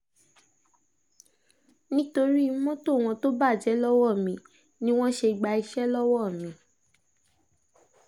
nítorí mọ́tò wọn tó bàjẹ́ lọ́wọ́ mi ni wọ́n ṣe gba iṣẹ́ lọ́wọ́ mi